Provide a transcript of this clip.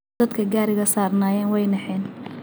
Dadhka gariga sarnayeen waynaxeen.